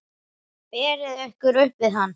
Berið ykkur upp við hann!